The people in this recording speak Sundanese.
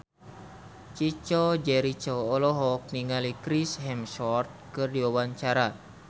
Chico Jericho olohok ningali Chris Hemsworth keur diwawancara